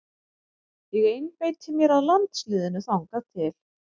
Ég einbeiti mér að landsliðinu þangað til.